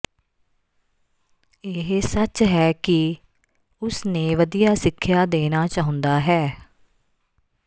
ਇਹ ਸੱਚ ਹੈ ਕਿ ਉਸ ਨੇ ਵਧੀਆ ਸਿੱਖਿਆ ਦੇਣਾ ਚਾਹੁੰਦਾ ਹੈ